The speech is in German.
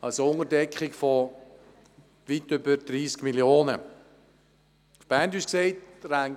Die Unterdeckung beträgt also weit mehr als 30 Mio. Franken.